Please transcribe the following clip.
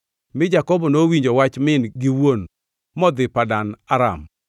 Mi Jakobo nowinjo wach min gi wuon modhi Padan Aram.